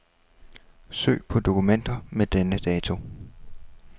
Søg på dokumenter med denne dato.